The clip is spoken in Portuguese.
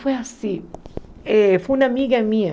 Foi assim, eh foi uma amiga minha.